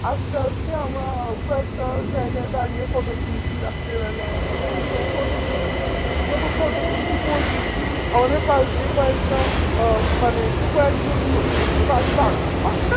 আস্তে আস্তে আমরা কয়েকটা জায়গায় দাড়িয়ে আমরা photo তুলেছি রাত্রেবেলা হ্যাঁ তো photo তুলতে যখন photo তুলছি pose দিচ্ছি আমাদের পাস দিয়ে কয়েকটা আহ মানে কয়েক জন লো উম বাস বাক বাচ্চা